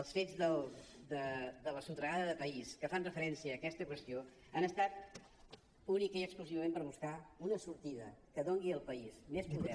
els fets de la sotragada de país que fan referència a aquesta qüestió han estat únicament i exclusivament per buscar una sortida que doni al país més poder